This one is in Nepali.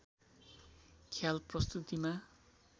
ख्याल प्रस्तुतिमा